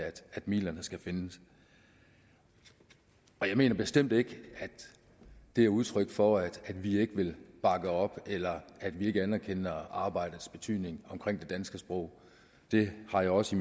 at midlerne skal findes jeg mener bestemt ikke at det er udtryk for at vi ikke vil bakke op eller at vi ikke anerkender arbejdets betydning omkring det danske sprog det har jeg også